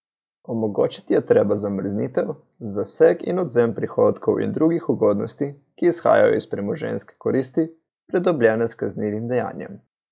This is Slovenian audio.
Omogočiti je treba zamrznitev, zaseg in odvzem prihodkov in drugih ugodnosti, ki izhajajo iz premoženjske koristi, pridobljene s kaznivim dejanjem.